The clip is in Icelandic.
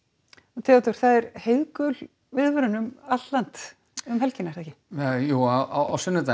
Theodór það er gul viðvörun um allt land um helgina jú á sunnudaginn